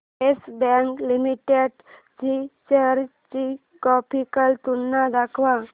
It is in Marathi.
येस बँक लिमिटेड च्या शेअर्स ची ग्राफिकल तुलना दाखव